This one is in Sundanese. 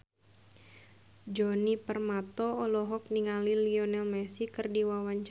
Djoni Permato olohok ningali Lionel Messi keur diwawancara